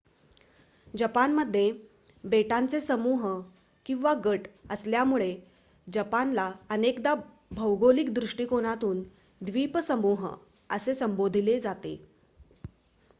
"जपानमध्ये बेटांचे समूह/गट असल्यामुळे जपानला अनेकदा भौगोलिक दृष्टिकोनातून "द्विपसमूह" असे संबोधले जाते.